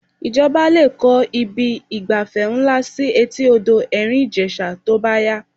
Ìjọba lè kọ́ ibi ìgbafẹ́ ńlá sí etí odò Ẹ̀rìn Ìjẹ̀ṣà tó bá yá